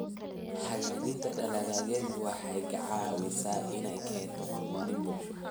Hagaajinta dalagyadu waxa ay ka caawisaa in ay keento horumar bulsho.